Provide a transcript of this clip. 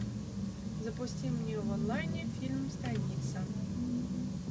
запусти мне в онлайне фильм станица